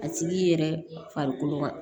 A tigi yɛrɛ farikolo